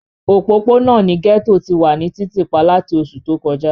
Opopona ni gẹto ti wa ni titipa lati oṣu to kọja.